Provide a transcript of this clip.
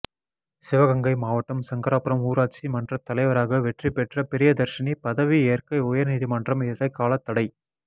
சிவகங்கை மாவட்டம் சங்கராபுரம் ஊராட்சி மன்றத் தலைவராக வெற்றி பெற்ற பிரியதர்ஷினி பதவி ஏற்க உயர்நீதிமன்றம் இடைக்காலத் தடை